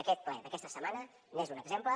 aquest ple d’aquesta setmana n’és un exemple